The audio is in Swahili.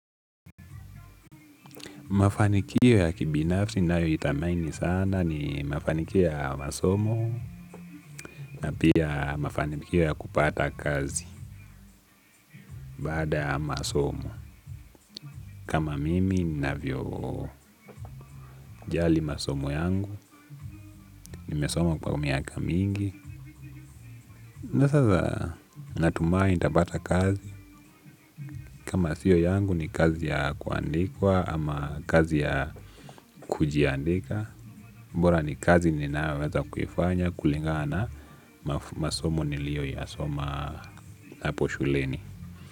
Mafanikio ya kibinafsi nayoithamaini sana ni mafanikio ya masomo na pia mafanikio ya kupata kazi baada masomo. Kama mimi navyo jali masomo yangu, nimesoma kwa miaka mingi. Na sasa natumai ntapata kazi. Kama sio yangu ni kazi ya kuandikwa ama kazi ya kujiandika. Bora ni kazi ninayoweza kufanya kulingaa na masomo nilio ya soma hapo shuleni.